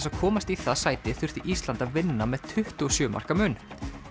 að komast í það sæti þurfti Ísland að vinna með tuttugu og sjö marka mun